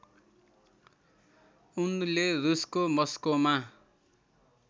उनले रुसको मस्कोमा